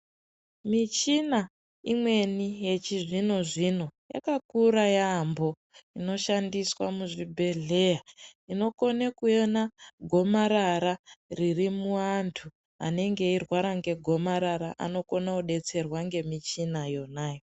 Michina imweni yechizvino zvino yakakura yambo inoshandiswa muzvibhedhlera inokone kuona gomarara ririmuantu anenge eirwara negomarara anokona kudetserwa ngemichina yonyo.